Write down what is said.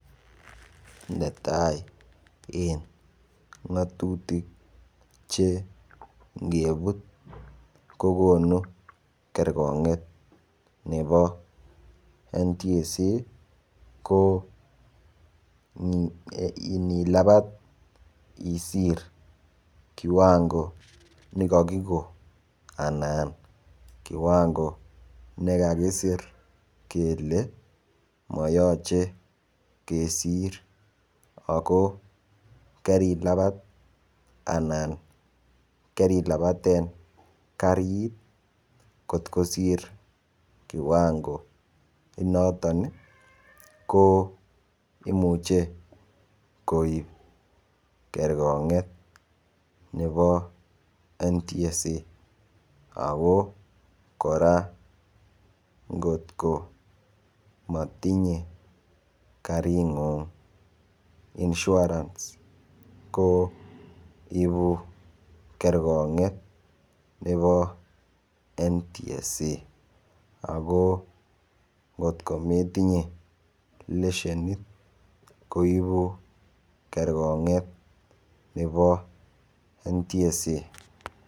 netai en ngotutik chengebuut kogonu kergonget nebo National Transport and Safety Authority ko nilabat isiir kiwango negakigoon anan kiwango negakisiir kele moyoche kesiir ako karilabaat anan karilabaten kariit kot kosiir kiwango inoton iih ko imuche koib kergonget nebo National Transport and Safety Authority, ago koraa ngot ko motinye karinguung insurance ko ibuu kergongeet nebo National Transport and Safety Authority, ago ngot kometinye leshenit koibu kergonget nebo National Transport and Safety Authority.